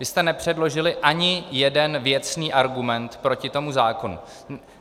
Vy jste nepředložili ani jeden věcný argument proti tomu zákonu.